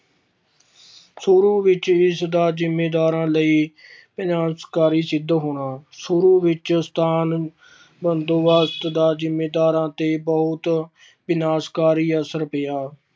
ਸ਼ੂਰੂ ਵਿੱਚ ਇਸਦਾ ਜ਼ਿੰਮੀਦਾਰਾਂ ਲਈ ਸਿੱਧ ਹੋਣਾ, ਸ਼ੁਰੂ ਵਿੱਚ ਸਥਾਨ ਬੰਦੋਬਸਤ ਦਾ ਜ਼ਿੰਮੀਦਾਰਾਂ ਤੇੇ ਬਹੁਤ ਵਿਨਾਸਕਾਰੀ ਅਸਰ ਪਿਆ।